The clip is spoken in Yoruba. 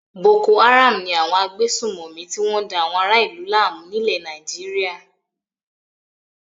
Boko-Haram ni àwọn agbésùnmòmí tí wọ́n da àwọn ará-ìlú láàmú nílẹ̀ Nàìjíríà.